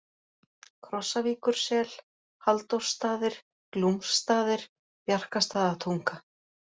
Krossavíkursel, Halldórsstaðir, Glúmsstaðir, Bjarkastaðatunga